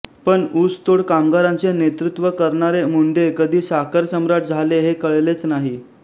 पण ऊसतोड कामगारांचे नेतृत्त्व करणारे मुंडे कधी साखर सम्राट झाले हे कळलेच नाही